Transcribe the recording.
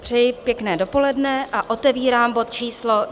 Přeji pěkné dopoledne a otevírám bod číslo